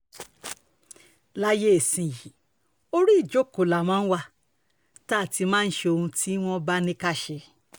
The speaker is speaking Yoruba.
láyé ìsinyìí orí ìjókòó la máa wá tá a ti máa ṣe ohun tí wọ́n bá ní ká ṣe